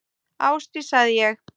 Ásdís, sagði ég.